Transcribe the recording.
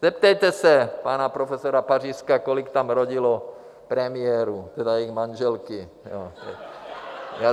Zeptejte se pana profesora Pařízka, kolik tam rodilo premiérů, tedy jejich manželek.